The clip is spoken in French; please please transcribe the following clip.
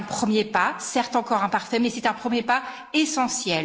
C'est un premier pas, certes encore imparfait, mais c'est un premier pas essentiel.